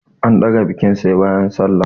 An ɗaga bikin sai bayan sallah.